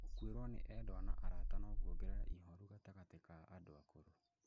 Gũkuĩrũo nĩ endwa na arata no kuongerere ihooru gatagatĩ ka andũ akũrũ.